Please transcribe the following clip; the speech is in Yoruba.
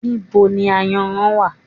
Níbo ni Ayanran wá?